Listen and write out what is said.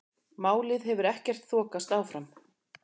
Málið hefur ekkert þokast áfram.